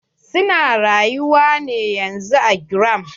Su na rayuwa ne yanzun a GRA.